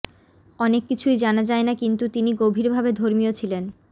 অনেক কিছুই জানা যায় না কিন্তু তিনি গভীরভাবে ধর্মীয় ছিলেন